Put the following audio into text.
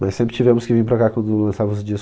Mas sempre tivemos que vir pra cá quando lançava os discos.